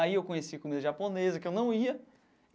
Aí eu conheci comida japonesa, que eu não ia.